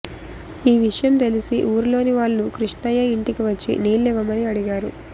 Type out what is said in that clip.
ఈ విషయం తెలిసి ఊరిలోని వాళ్లు కృష్ణయ్య ఇంటికి వచ్చి నీళ్లివ్వమని అడిగారు